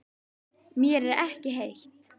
Mér er ekki heitt.